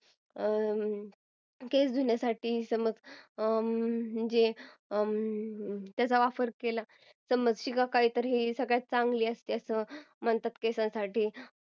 केस धुण्यासाठी समज शिकाकाही चा वापर केला की सगळ्यात चांगली असते केसांसाठी मला असं वाटतं की